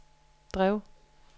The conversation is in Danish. drev